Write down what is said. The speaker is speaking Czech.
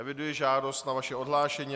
Eviduji žádost na vaše odhlášení.